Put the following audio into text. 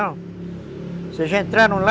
Vocês já entraram lá?